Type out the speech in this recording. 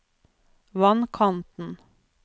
vannkanten